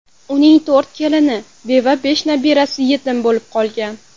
Uning to‘rt kelini beva, besh nabirasi yetim bo‘lib qolgan.